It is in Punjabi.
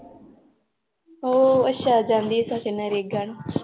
ਓ ਅੱਛਾ ਜਾਂਦੀ ਆ ਸੱਚ ਨਰੇਗਾ ਨੂੰ l